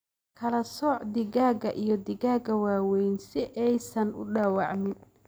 Kala sooc digaagga iyo digaagga waaweyn si aysan u dhaawacmin.